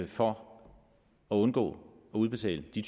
for at undgå at udbetale de